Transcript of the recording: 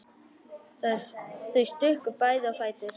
Þau stukku bæði á fætur.